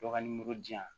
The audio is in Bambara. Bagan nimoro di yan